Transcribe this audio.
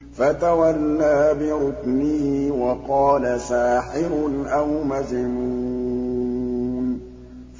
فَتَوَلَّىٰ بِرُكْنِهِ وَقَالَ سَاحِرٌ أَوْ مَجْنُونٌ